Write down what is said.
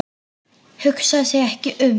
Hugsaði sig ekki um!